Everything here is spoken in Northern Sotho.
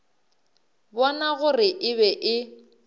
bona gore e be e